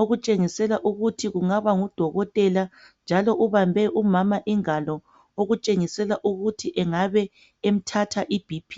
okutshengisela ukuthi kungaba ngudokotela njalo ubambe umama ingalo okutshengisela ukuthi engabe emthatha i BP.